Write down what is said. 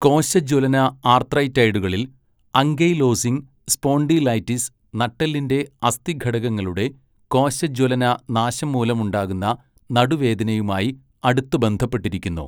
കോശജ്വലന ആർത്രൈറ്റൈഡുകളിൽ, ankylosing spondylitis, നട്ടെല്ലിന്റെ അസ്ഥി ഘടകങ്ങളുടെ കോശജ്വലന നാശം മൂലമുണ്ടാകുന്ന നടുവേദനയുമായി അടുത്ത് ബന്ധപ്പെട്ടിരിക്കുന്നു.